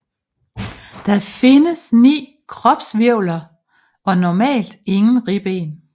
Der findes 9 kropshvirvler og normalt ingen ribben